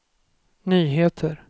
nyheter